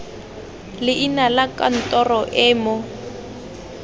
leina la kantoro e mo